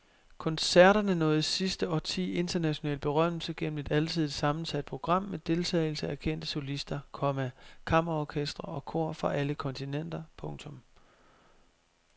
Koncerterne nåede i sidste årti international berømmelse gennem et alsidigt sammensat program med deltagelse af kendte solister, komma kammerorkestre og kor fra alle kontinenter. punktum